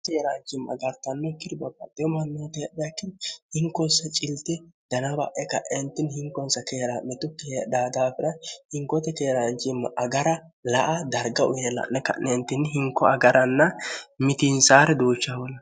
h keeraanjimma agartanno kirbabaehomammoote hehakkini hinkonsa cilti danaba'e ka'eentinni hinkonsa keera metukki heedha daafire hinkoote keeraanjimma agara la a darga uyeella'ne ka'neentinni hinko agaranna mitiinsaari duuchaholn